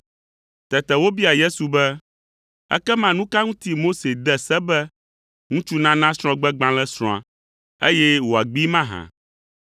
Tete wobia Yesu be, “Ekema nu ka ŋuti Mose de se be ŋutsu nana srɔ̃gbegbalẽ srɔ̃a, eye wòagbee mahã?”